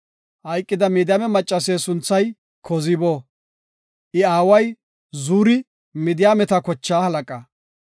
Hayqida Midiyaame maccase sunthay Kozibo; I aaway Zuri Midiyaameta kochaa halaqa.